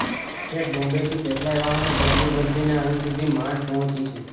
છેક બોમ્બેથી કેટલાંય વાહનો બદલી બદલીને અહીં સુધી માંડ પહોંચી છું